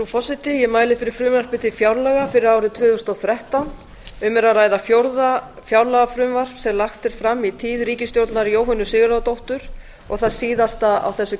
frú forseti ég mæli fyrir frumvarpi til fjárlaga fyrir árið tvö þúsund og þrettán um er að ræða fjórða fjárlagafrumvarp sem lagt er fram í tíð ríkisstjórnar jóhönnu sigurðardóttur og það síðasta á þessu